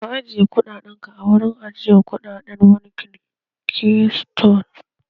Ka ajiyar kuɗaɗen ka a cikin wurin ajiyar kuɗaɗen bankin Keystone!